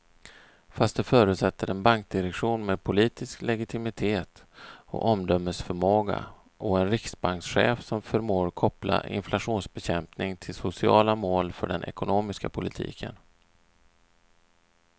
Fast det förutsätter en bankdirektion med politisk legitimitet och omdömesförmåga och en riksbankschef som förmår koppla inflationsbekämpning till sociala mål för den ekonomiska politiken.